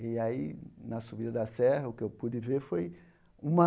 E aí, na subida da serra, o que eu pude ver foi uma...